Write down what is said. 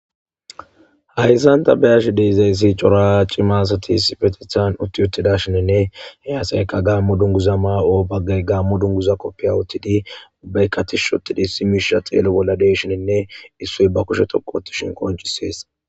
Hayssan ta beyash deizayssi cora cimaasati sifetithan utti uttida shininne he asayka gaammo dunguza maa'o baggay gaammo dunguza koppiya uttidi ubbaykkatish ottidi simisha xeelo bolla deshininne issoy ba kushe toqo ottishin qoncisees.